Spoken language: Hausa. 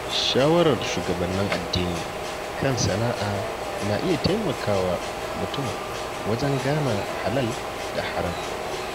Shawarar shugabannin addini kan sana’a na iya taimakawa mutum wajen gane halal da haram.